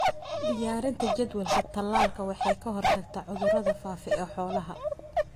Diyaarinta jadwalka talaalka waxay ka hortagtaa cudurada faafa ee xoolaha.